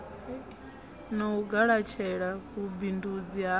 na u galatshela vhubindundzi ha